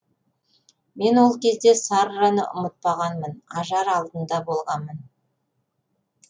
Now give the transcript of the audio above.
мен ол кезде сарраны ұнатпағанмын ажар алдында болғанмын